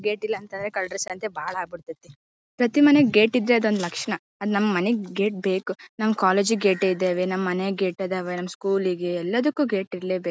Gate ಇಲ್ಲ ಅಂತಂದ್ರೆ ಕಳ್ಳರ ಸಂಖ್ಯೆ ಬಾಳ ಆಗ ಬಿಡ್ತಿತ್ತು. ಪ್ತತಿ ಮನೆಗೆ ಗೇಟ್ ಇದ್ರೆ ಅದೊಂದು ತರ ಲಕ್ಷಣ. ಅದು ನಮ್ಮ್ ಮನೆಗೆ ಗೇಟ್ ಬೇಕು. ನಮ್ಮ್ ಕಾಲೇಜ್ ಗೆ ಗೇಟ್ ಇದಾವೆ ನಮ್ಮ್ ಮನೆಗೆ ಗೇಟ್ ಇದಾವೆ ನಮ್ಮ್ ಸ್ಕೂಲ್ ಗೆ ಎಲ್ಲದಕ್ಕೂ ಗೇಟ್ ಇರಲೇ ಬೇಕು.